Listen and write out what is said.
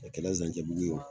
A kɛla Zancɛbugu ye